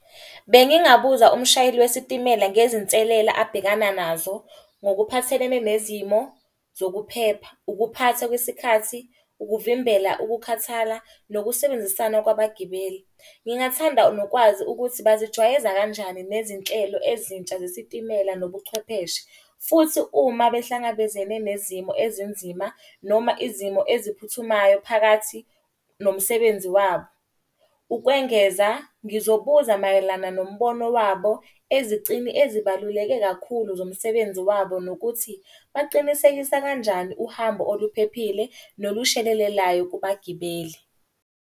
Bengingabuza umshayeli wesitimela ngezinselela abhekana nazo ngokuphathelene nezimo zokuphepha, ukuphatha kwesikhathi, ukuvimbela ukukhathala, nokusebenzisana kwabagibeli. Ngingathanda nokwazi ukuthi bazijwayeza kanjani nezinhlelo ezintsha zesitimela nobuchwepheshe. Futhi uma behlangabezene nezimo ezinzima noma izimo eziphuthumayo phakathi nomsebenzi wabo. Ukwengeza, ngizobuza mayelana nombono wabo ezicini ezibaluleke kakhulu zomsebenzi wabo nokuthi baqinisekisa kanjani uhambo oluphephile nolushelelelayo kubagibeli.